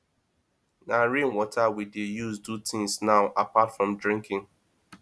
na rain water we dey use do things now apart from drinking